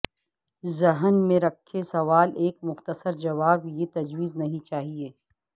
ذہن میں رکھیں سوال ایک مختصر جواب یہ تجویز نہیں چاہیے